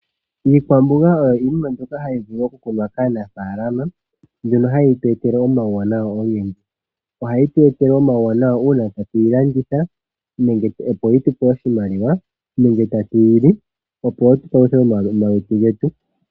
Iikwamboga oyo iinima mbyoka hayi vulu okukunwa kaanafaalama mbyono hayi gandja omauwanawa ogendji. Ohayi gandja omauwanawa uuna tayi landithwa yi gandje oshimaliwa nenge tayi liwa yipaluthe omalutu.